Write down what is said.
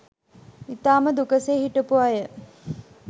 ඉතාම දුකසේ හිටපු අය